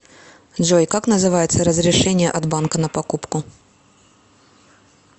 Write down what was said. джой как называется разрешение от банка на покупку